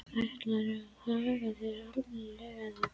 Ætlarðu að haga þér almennilega, eða hvað?